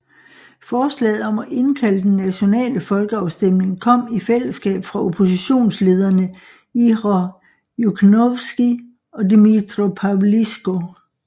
Forslaget om at indkalde den nationale folkeafstemning kom i fællesskab fra oppositionslederne Ihor Yukhnovsky og Dmytro Pavlychko